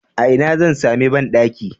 A ina zan sami banɗaki?